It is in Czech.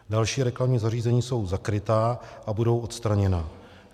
Další reklamní zařízení jsou zakryta a budou odstraněna.